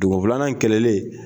Dugu filanan in kɛlɛlen